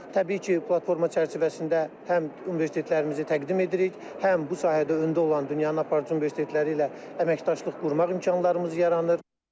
Təbii ki, platforma çərçivəsində həm universitetlərimizi təqdim edirik, həm bu sahədə öndə olan dünyanın aparıcı universitetləri ilə əməkdaşlıq qurmaq imkanlarımız yaranır.